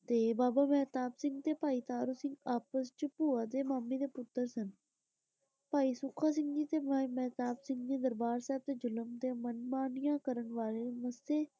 ਤੇ ਬਾਬਾ ਮਹਿਤਾਬ ਸਿੰਘ ਤੇ ਪਾਈ ਤਾਰੂ ਸਿੰਘ ਆਪਸ ਚ ਭੂਆ ਦੇ ਮਾਮੇ ਦੇ ਪੁੱਤਰ ਸਨ ਭਾਈ ਸੁੱਖਾ ਸਿੰਘ ਜੀ ਤੇ ਭਾਈ ਮਹਿਤਾਬ ਸਿੰਘ ਦਰਬਾਰ ਸਾਹਿਬ ਤੇ ਜ਼ੁਲਮ ਤੇ ਮਨਮਾਨੀਆਂ ਕਰਨ ਵਾਲੇ ਮੂਸੇ।